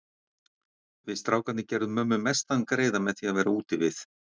Við strákarnir gerðum mömmu mestan greiða með því að vera úti við.